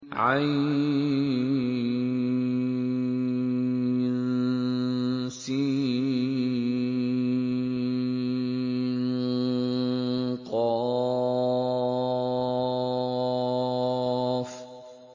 عسق